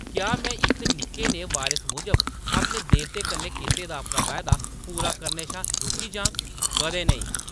“क्या‌ में इक निक्के ‌नेह् वायरस मूजब अपने देवतें कन्नै कीते दा अपना वायदा पूरा करने शा रुकी जाङ ? कदें नेईं !”